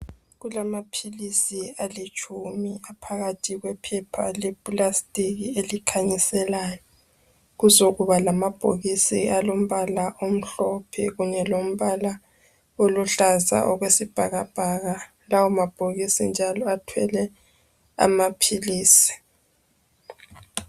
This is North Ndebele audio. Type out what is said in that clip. Kulama philisi alitshumi aphakathi kwephepha le plastic elikhanyiselayo. Kuzokuba lama bhokisi alombala omhlophe okunye lombala oluhlaza okwesibhakabhaka. Lawo mabhokisi njalo athwele amaphilisi.